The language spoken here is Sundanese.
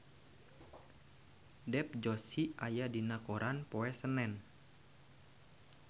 Dev Joshi aya dina koran poe Senen